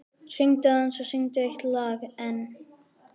Hinkraðu aðeins og syngdu eitt lag enn.